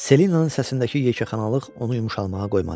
Selenanın səsinəki yekəxanalıq onu yumşalmağa qoymadı.